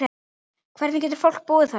Hvernig getur fólk búið þarna?